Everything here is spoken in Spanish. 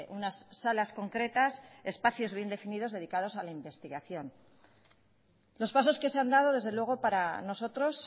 unas salas concretas espacios bien definidos dedicados a la investigación los pasos que se han dado desde luego para nosotros